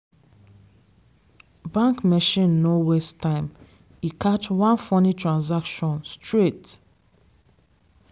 bank machine no waste time. e catch one funny transaction straight.